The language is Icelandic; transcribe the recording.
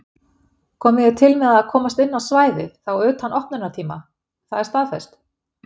Komið þið til með að komast inn á svæðið þá utan opnunartíma, það er staðfest?